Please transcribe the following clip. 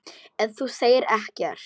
En þú segir ekkert.